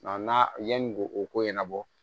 Nka n'a yanni ko o ko ɲɛnabɔ